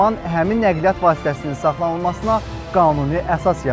Bu zaman həmin nəqliyyat vasitəsinin saxlanılmasına qanuni əsas yaranır.